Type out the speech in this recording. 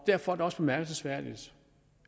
derfor er det også bemærkelsesværdigt